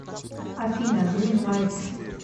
афина грин лайт